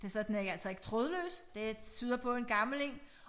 Det så den er ikke altså ikke trådløs. Det tyder på en gammel én